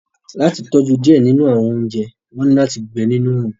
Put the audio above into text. Lati tọju diẹ ninu awọn ounjẹ, wọn ni lati gbẹ ninu oorun